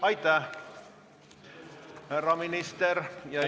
Aitäh, härra minister!